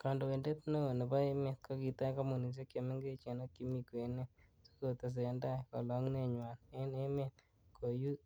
Kondoindet neo nebo emet, kokitach kompunisiek che mengechen ak chemi kwenet, si kotesendai kolungunenywan en emet,